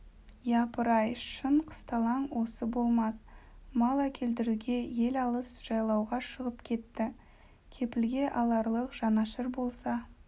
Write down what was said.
япыр-ай шын қысталаң осы болмас мал әкелдіруге ел алыс жайлауға шығып кетті кепілге аларлық жанашыр болса